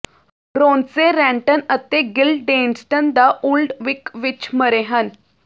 ਰੋਂਸੇਂਰੈਂਟਨ ਅਤੇ Guildenstern the old Vic ਵਿਚ ਮਰੇ ਹਨ